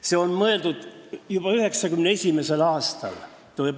See on välja mõeldud juba 1991. aastal!